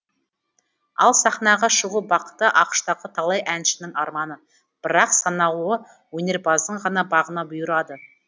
ал сахнаға шығу бақыты ақш тағы талай әншінің арманы бірақ саналуы өнерпаздың ғана бағына бұйырды